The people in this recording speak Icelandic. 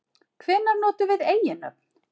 Hvenær notum við eiginnöfn?